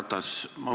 Härra Ratas!